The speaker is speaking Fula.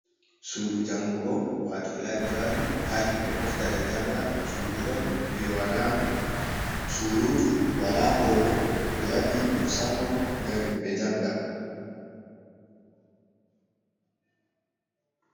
Sudu jangugo wato laibrari ha himɓe moftata janga, sudu on je surutu wala holo, ɓewaɗi musamman ngam himɓe janga.